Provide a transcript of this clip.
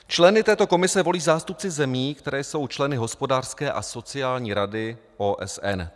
Členy této komise volí zástupci zemí, které jsou členy Hospodářské a sociální rady OSN.